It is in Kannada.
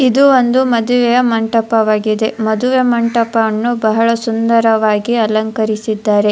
ಇದು ಒಂದು ಮದುವೆಯ ಮಂಟಪವಾಗಿದೆ ಮದುವೆಯ ಮಂಟಪವನ್ನು ಬಹಳ ಸುಂದರವಾಗಿ ಅಲಂಕರಿಸಿದ್ದಾರೆ.